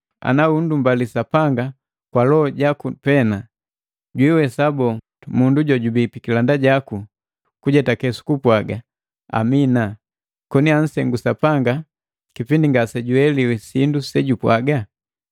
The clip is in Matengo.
Ana unndubali Sapanga kwa loho jaku pena, jwiiwesa boo, mundu jojubi pikilanda jaku kujetake sukupwaga, “Amina” koni ansengu Sapanga kipindi ngasejueliwi sindu sejupwaga?